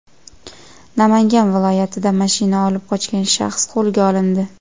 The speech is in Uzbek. Namangan viloyatida mashina olib qochgan shaxs qo‘lga olindi.